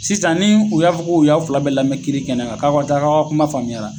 Sisan ni u y'a fɔ k'u y'a fila bɛ lamɛ nmɛ kiri kɛnɛ kan k'aw ka taa k'aw ka kuma faamuyara